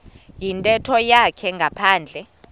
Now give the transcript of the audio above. yintetho yakhe ngaphandle